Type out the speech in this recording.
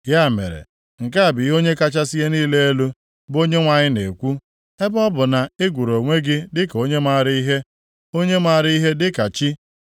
“ ‘Ya mere, nke a bụ ihe Onye kachasị ihe niile elu, bụ Onyenwe anyị na-ekwu; “ ‘ebe ọ bụ na ị gụrụ onwe gị dịka onye maara ihe onye maara ihe dịka chi,